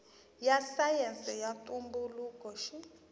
ya sayense ya ntumbuluko xi